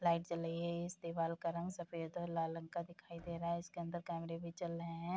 Light जल रही है इस दीवाल का रंग सफ़ेद और लाल रंग का दिखाई दे रहा है इसके अंदर कैमरे भी चल रहे हैं।